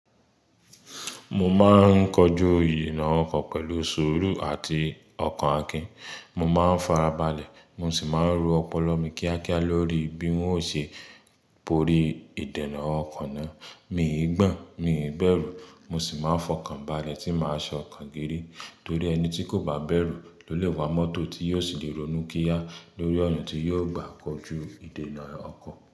Mo máa ń kojú ìdènà ọkọ̀ pẹ̀lú sùúrù àti ọkan akín. Mo máa ń farabalẹ̀, mo sì máa ń ro ọpọlọ mi kíákíá lórí bí wọn ó ṣe borí ìdènà ọkan náà. Mí ì gbọ̀n, mi ì bẹ̀rù, mo sì máa ń fọkàn balẹ̀ tí màá ṣọ ọkan girí. Torí ẹni tí kò bá bẹ̀rù ló lè wa mọ́tò tí yóò sì le ronú kíá lórí ọ̀na tí yóò gbà kojú ìdènà ọkọ̀